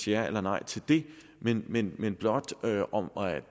ja eller nej til det men men blot høre om